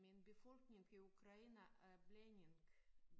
Men befolkningen i Ukraine er blanding